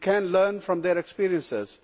we can learn from their experiences.